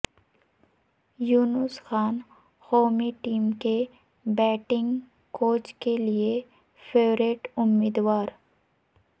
یونس خان قومی ٹیم کے batting coach کیلئے فیورٹ امیدوار